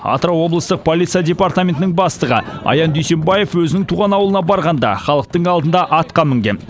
атырау облыстық полиция департаментінің бастығы аян дүйсембаев өзінің туған ауылына барғанда халықтың алдында атқа мінген